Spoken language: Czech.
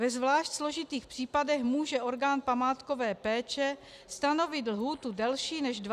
Ve zvlášť složitých případech může orgán památkové péče stanovit lhůtu delší než 20 dnů.